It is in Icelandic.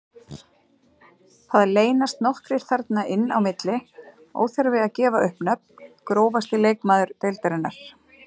Það leynast nokkrir þarna inn á milli, óþarfi að gefa upp nöfn Grófasti leikmaður deildarinnar?